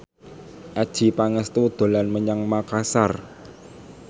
Adjie Pangestu dolan menyang Makasar